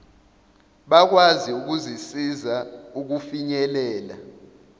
bakwazi ukuzisiza ukufinyelela